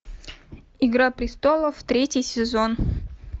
игра престолов третий сезон